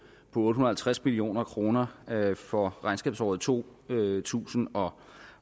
otte hundrede og halvtreds million kroner for regnskabsåret to tusind og